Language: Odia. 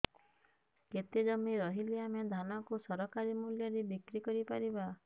କେତେ ଜମି ରହିଲେ ଆମେ ଧାନ କୁ ସରକାରୀ ମୂଲ୍ଯରେ ବିକ୍ରି କରିପାରିବା